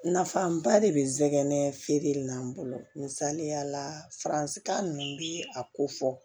Nafaba de be n sɛgɛn feere in na n bolo misaliya la faransika nunnu bi a ko fɔ